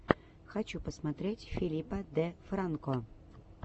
хочу посмотреть филипа де франко